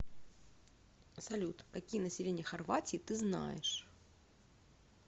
салют какие население хорватии ты знаешь